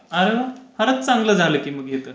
आरेवा! खरंच चांगलं झालं की हे तर